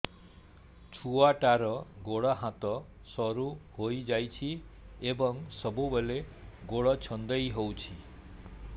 ଛୁଆଟାର ଗୋଡ଼ ହାତ ସରୁ ହୋଇଯାଇଛି ଏବଂ ସବୁବେଳେ ଗୋଡ଼ ଛଂଦେଇ ହେଉଛି